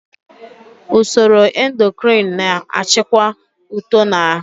Usoro endokrin na-achịkwa uto na ahụ.